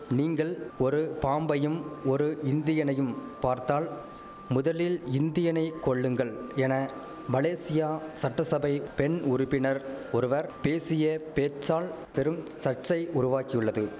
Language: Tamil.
நீங்கள் ஒரு பாம்பையும் ஒரு இந்தியனையும் பார்த்தால் முதலில் இந்தியனை கொல்லுங்கள் என மலேசியா சட்டசபை பெண் உறுப்பினர் ஒருவர் பேசிய பேச்சால் பெரும் சர்ச்சை உருவாக்கியுள்ளது